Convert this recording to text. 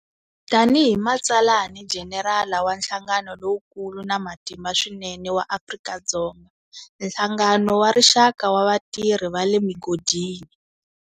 Tani hi matsalanijenerala wa nhlangano lowukulu na matimba swinene wa Afrika-Dzonga, Nhlangano wa Rixaka wa Vatirhi va le Migodini.